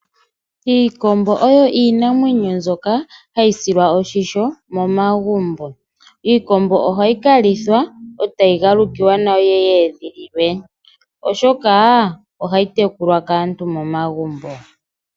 Iikombo oyo iinamwenyo mbyoka hayi silwa oshisho momagumbo, iikombo ohayi kalithwa otayi galukiwa nayo yiye yedhililwe oshoka ohayi tekulwa kaantu momagumbo.